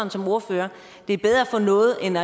som ordfører at det er bedre at få noget end